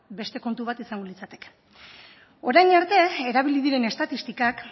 beste kontu bat izango litzateke orain arte erabili diren estatistikak